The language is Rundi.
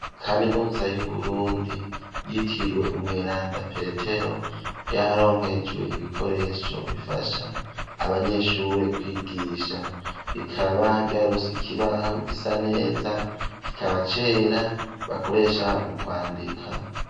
kaminuza y'uburundi yitiriwe umweranda petero ryaronkejwe ibikoresho bifasha abanyeshure kwigisha rikaba ryaronse ikibaho gisa neza kikaba cera bakoresha mu kwandika.